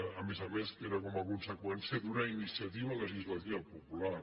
a més a més que era com a conseqüència d’una iniciativa legislativa popular